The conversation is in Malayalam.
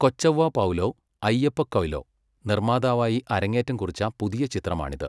കൊച്ചൗവ്വ പൗലോ അയ്യപ്പ കൊയ്ലോ നിർമ്മാതാവായി അരങ്ങേറ്റം കുറിച്ച പുതിയ ചിത്രമാണിത്.